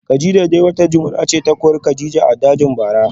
Kadijah dai wata jimina ce ta kori kadija a dajin bara